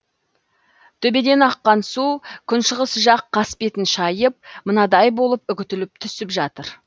төбеден аққан су күншығыс жақ қасбетін шайып мынадай болып үгітіліп түсіп жатыр